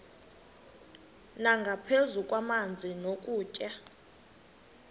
nangaphezu kwamanzi nokutya